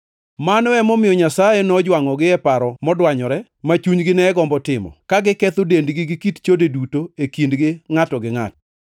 Mano emomiyo Nyasaye nojwangʼogi e paro modwanyore ma chunygi ne gombo timo, ka giketho dendgi gi kit chode duto e kindgi ngʼato gi ngʼato.